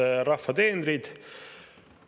Head rahva teenrid!